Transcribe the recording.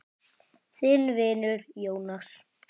Þinn vinur, Jónas.